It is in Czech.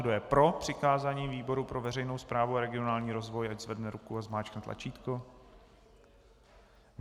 Kdo je pro přikázání výboru pro veřejnou správu a regionální rozvoj, ať zvedne ruku a zmáčkne tlačítko.